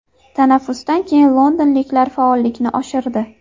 Tanaffusdan keyin londonliklar faollikni oshirdi.